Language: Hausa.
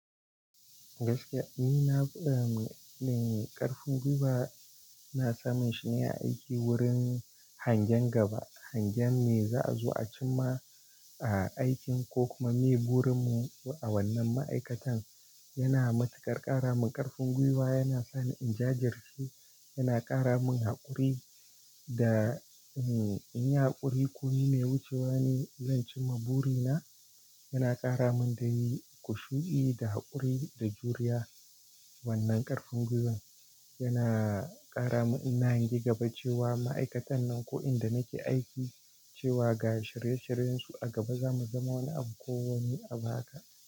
Gaskiya ni na, ƙarfin gwiwa ina sa munshi ne a aiki wurin hangen gaba. Hangen me za a zo a cimma. A aikin ko kuma me burin mu a wannan ma'aikatan. Yana matuƙar ƙara mun ƙarfin gwiwa yana sani in jajirce, yana ƙara mun haƙuri da, in yi haƙuri ko me wucewa ne zan cimma buri na. Yana ƙara mun dai ƙusha'i da haƙuri da juriya. Wannan ƙarfin gwiwan yana ƙara mun ina hange gaba cewa ma'aikatan nan ko inda nake aiki cewa ga shirye shiryensu a gaba za mu zama wani abu ko wani abu haka.